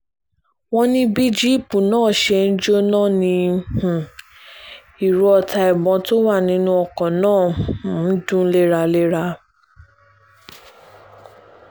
wọ́n ní bí jíìpù náà ṣe ń jóná ni um ìró ọta ìbọn tó wà nínú ọkọ̀ náà um ń dún léraléra